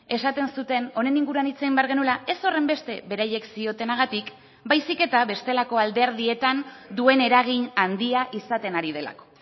esaten zuten honen inguruan hitz egin behar genuela ez horrenbeste beraiek ziotenagatik baizik eta bestelako alderdietan duen eragin handia izaten ari delako